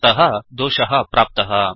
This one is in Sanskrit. अतः दोषः प्राप्तः